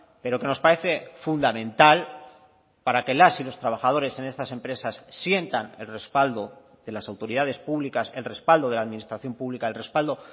pero que nos parece fundamental para que las y los trabajadores en estas empresas sientan el respaldo de las autoridades públicas el respaldo de la administración pública el respaldo